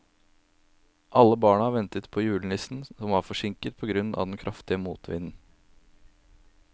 Alle barna ventet på julenissen, som var forsinket på grunn av den kraftige motvinden.